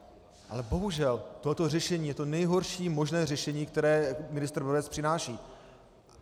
Ale bohužel tohleto řešení je to nejhorší možné řešení, které ministr Brabec přináší.